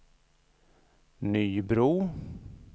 Nybro